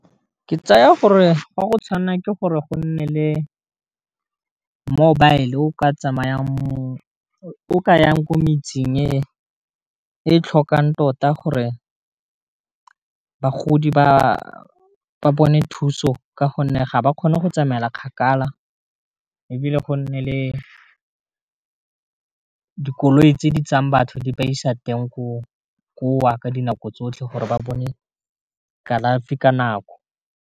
Ke tsaya gore ga go tshwanelwa ke gore go nne le mobile o ka yang ko metseng e tlhokang tota gore bagodi ba bone thuso ka gonne ga ba kgone go tsamaela kgakala, e bile go nne le dikoloi tse di tsayang batho di ba isa teng ko wa ka dinako tsotlhe gore ba bone kalafi ka nako.